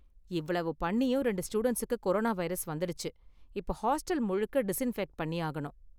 இவ்வளவு பண்ணியும், ரெண்டு ஸ்டூடண்ட்ஸுக்கு கொரோனா வைரஸ் வந்திடுச்சு, இப்போ ஹாஸ்டல் முழுக்க டிஸின்ஃபெக்ட் பண்ணியாகனும்.